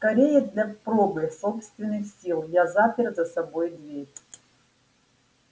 скорее для пробы собственных сил я запер за собой дверь